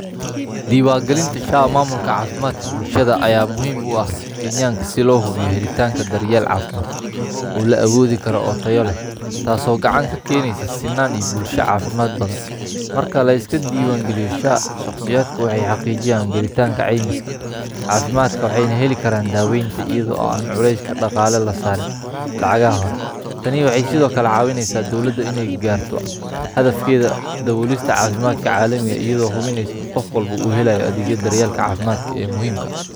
Diwangalinta sha mamulka cafimdka bulshada aya muhiim u ah kenyaka sii lohubiyoh halitanka daryal cafimad, oo la awadogaro oo taya lah taso oo gacan ka ganisoh sinan iyo bulsho cafimad badan, marka liska diwan galiyo sha shaqsiyada waxa xaqijiyan galitanka camiska cafimdka waxay na halikan dawanta aydo qulaska daqali lasarin lacag ah hore tani waxay side okle cawinaysah dowlada niya gartoh xadafkada dawoliskata cafimadka calimika ayado hubinaysoh inu qof walbo uhalayo adag yada daryalka cafimdka amuhiim ka ah.